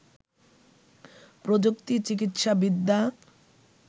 প্রযুক্তি, চিকিৎসাবিদ্যা